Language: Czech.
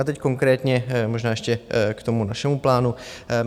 Já teď konkrétně možná ještě k tomu našemu plánu.